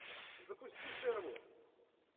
запусти шервуд